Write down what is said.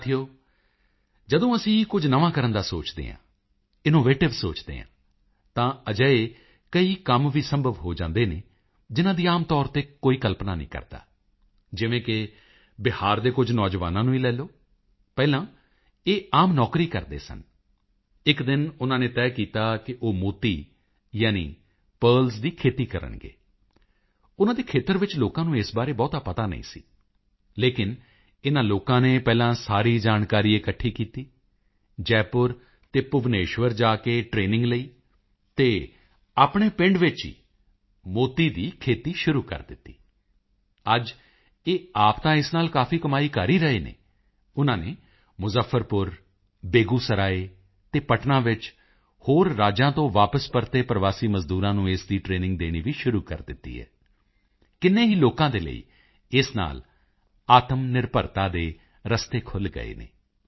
ਸਾਥੀਓ ਜਦੋਂ ਅਸੀਂ ਕੁਝ ਨਵਾਂ ਕਰਨ ਦਾ ਸੋਚਦੇ ਹਾਂ ਇਨੋਵੇਟਿਵ ਸੋਚਦੇ ਹਾਂ ਤਾਂ ਅਜਿਹੇ ਕਈ ਕੰਮ ਵੀ ਸੰਭਵ ਹੋ ਜਾਂਦੇ ਹਨ ਜਿਨ੍ਹਾਂ ਦੀ ਆਮ ਤੌਰ ਤੇ ਕੋਈ ਕਲਪਨਾ ਨਹੀਂ ਕਰਦਾ ਜਿਵੇਂ ਕਿ ਬਿਹਾਰ ਦੇ ਕੁਝ ਨੌਜਵਾਨਾਂ ਨੂੰ ਹੀ ਲੈ ਲਓ ਪਹਿਲਾਂ ਇਹ ਆਮ ਨੌਕਰੀ ਕਰਦੇ ਸਨ ਇਕ ਦਿਨ ਉਨ੍ਹਾਂ ਨੇ ਤੈਅ ਕੀਤਾ ਕਿ ਉਹ ਮੋਤੀ ਯਾਨੀ ਪਰਲਜ਼ ਦੀ ਖੇਤੀ ਕਰਨਗੇ ਉਨ੍ਹਾਂ ਦੇ ਖੇਤਰ ਵਿੱਚ ਲੋਕਾਂ ਨੂੰ ਇਸ ਬਾਰੇ ਬਹੁਤਾ ਪਤਾ ਨਹੀਂ ਸੀ ਲੇਕਿਨ ਇਨ੍ਹਾਂ ਲੋਕਾਂ ਨੇ ਪਹਿਲਾਂ ਸਾਰੀ ਜਾਣਕਾਰੀ ਇਕੱਠੀ ਕੀਤੀ ਜੈਪੁਰ ਅਤੇ ਭੁਵਨੇਸ਼ਵਰ ਜਾ ਕੇ ਟਰੇਨਿੰਗ ਲਈ ਤੇ ਆਪਣੇ ਪਿੰਡ ਵਿੱਚ ਹੀ ਮੋਤੀ ਦੀ ਖੇਤੀ ਸ਼ੁਰੂ ਕਰ ਦਿੱਤੀ ਅੱਜ ਇਹ ਆਪ ਤਾਂ ਇਸ ਨਾਲ ਕਾਫੀ ਕਮਾਈ ਕਰ ਹੀ ਰਹੇ ਹਨ ਉਨ੍ਹਾਂ ਨੇ ਮੁਜ਼ੱਫਰਪੁਰ ਬੇਗੂਸਰਾਏ ਅਤੇ ਪਟਨਾ ਵਿੱਚ ਹੋਰ ਰਾਜਾਂ ਤੋਂ ਵਾਪਸ ਪਰਤੇ ਪ੍ਰਵਾਸੀ ਮਜ਼ਦੂਰਾਂ ਨੂੰ ਇਸ ਦੀ ਟਰੇਨਿੰਗ ਦੇਣੀ ਵੀ ਸ਼ੁਰੂ ਕਰ ਦਿੱਤੀ ਹੈ ਕਿੰਨੇ ਹੀ ਲੋਕਾਂ ਦੇ ਲਈ ਇਸ ਨਾਲ ਆਤਮਨਿਰਭਰਤਾ ਦੇ ਰਸਤੇ ਖੁੱਲ੍ਹ ਗਏ ਹਨ